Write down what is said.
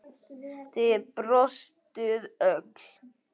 Þið brostuð öll.